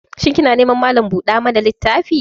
Shin kina neman malan buɗa littafi ne?